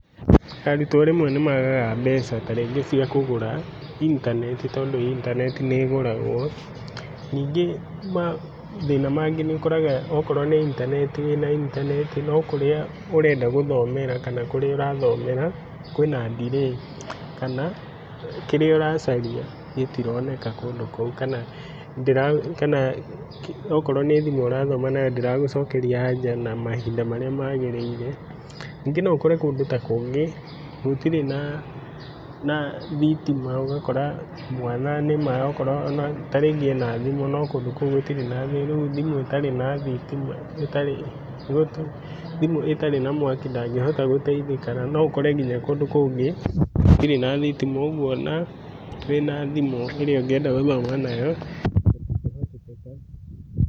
Arutwo rĩmwe nĩmagaga mbeca tarĩngĩ ciakũgũra intanenti tondũ intanenti nĩĩgũragwo, ningĩ mathĩna mangĩ nĩũkoraga okorwo nĩ intanenti, wĩ na intanenti no kũrĩa ũrenda gũthomera kana kũrĩa ũrathomera kwĩna delay kana kĩrĩa ũracaria gĩtironeka kũndũ kũu kana okorwo nĩ thimũ ũrathoma nayo ndĩragũcokeria aja na mahinda marĩa magĩrĩire. Ningĩ noũkore kũndũ ta kũngĩ gũtirĩ na na thitima ũgakora mwana nĩma okorwo ona tarĩngĩ ena thimũ no kũndũ kũu gũtirĩ na thitima, rĩu thimũ ĩtarĩ na mwaki ndangĩhota gũteithĩka na noũkore nginya kũndũ kũngĩ gũtirĩ na thitima ũguo ona wĩna thimũ ĩrĩa ũngĩenda gũthoma nayo gũtingĩhotekeka.